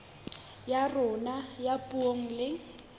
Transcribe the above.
ya rona ya puo le